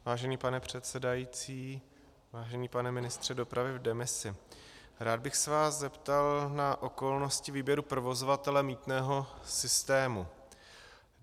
Vážený pane předsedající, vážený pane ministře dopravy v demisi, rád bych se vás zeptal na okolnosti výběru provozovatele mýtného systému.